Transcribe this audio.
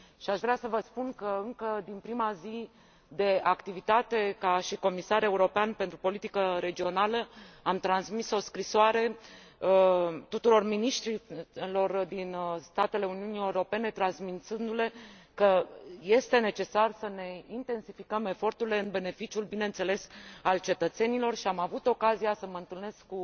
Aș vrea să vă spun că, încă din prima zi de activitate ca și comisar european pentru politica regională, am transmis o scrisoare tuturor miniștrilor din statele Uniunii Europene, transmițându le că este necesar să ne intensificăm eforturile în beneficiul, bineînțeles, al cetățenilor și am avut ocazia să mă întâlnesc cu